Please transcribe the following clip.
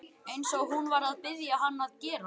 Eins og hún var að biðja hann að gera.